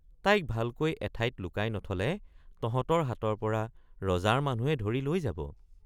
তাইক ভালকৈ এঠাইত লুকাই নথলে তহঁতৰ হাতৰপৰা ৰজাৰ মানুহে ধৰি লৈ যাব।